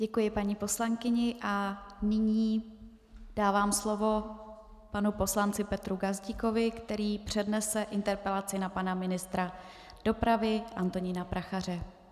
Děkuji paní poslankyni a nyní dávám slovo panu poslanci Petru Gazdíkovi, který přednese interpelaci na pana ministra dopravy Antonína Prachaře.